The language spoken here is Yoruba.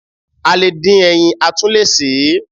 A le dín ẹyin, a tún le sè é.